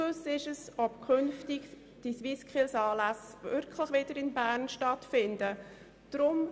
Es ist ungewiss, ob die SwissSkills künftig wieder in Bern stattfinden werden.